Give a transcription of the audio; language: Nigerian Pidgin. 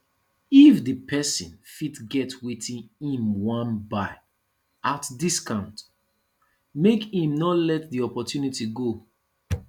if di person fit get wetin im wan buy at discount make im no let the opportunity go